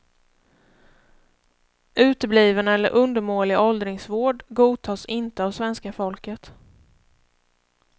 Utebliven eller undermålig åldringsvård godtas inte av svenska folket.